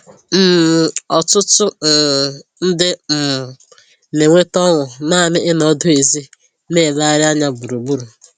um Ọtụtụ um ndị um na-enweta ọṅụ naanị ịnọ ọdụ n'èzí na-elegharị anya gburugburu